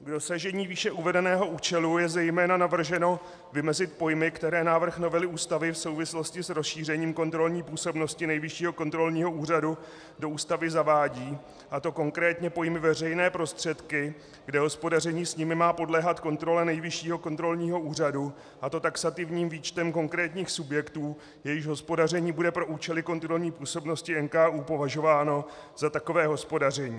K dosažení výše uvedeného účelu je zejména navrženo vymezit pojmy, které návrh novely Ústavy v souvislosti s rozšíření kontrolní působnosti Nejvyššího kontrolního úřadu do Ústavy zavádí, a to konkrétně pojmy "veřejné prostředky", kde hospodaření s nimi má podléhat kontrole Nejvyššího kontrolního úřadu, a to taxativním výčtem konkrétních subjektů, jejichž hospodaření bude pro účely kontrolní působnosti NKÚ považováno za takové hospodaření.